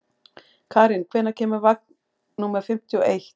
Karín, hvenær kemur vagn númer fimmtíu og eitt?